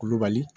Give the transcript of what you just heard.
Kulubali